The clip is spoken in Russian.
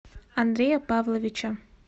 андрея павловича